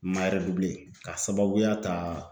N ma k'a sababuya ta